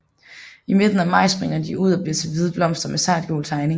I midten af maj springer de ud og bliver til hvide blomster med sartgul tegning